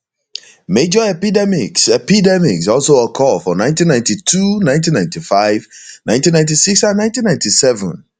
major epidemics epidemics also occur for 1992 19951996 and 1997